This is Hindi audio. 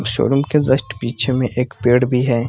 शोरूम के जस्ट पीछे में एक पेड़ भी है ।